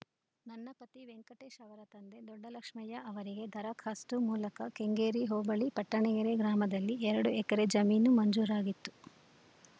ನನ್ನ ಪತಿ ವೆಂಕಟೇಶ್‌ ಅವರ ತಂದೆ ದೊಡ್ಡಲಕ್ಷ್ಮಯ್ಯ ಅವರಿಗೆ ದರಖಾಸ್ತು ಮೂಲಕ ಕೆಂಗೇರಿ ಹೋಬಳಿ ಪಟ್ಟಣಗೆರೆ ಗ್ರಾಮದಲ್ಲಿ ಎರಡು ಎಕರೆ ಜಮೀನು ಮಂಜೂರಾಗಿತ್ತು